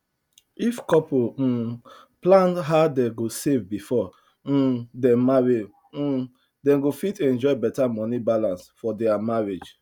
if couple um plan how dem go save before um dem marry um dem go fit enjoy better money balance for their marriage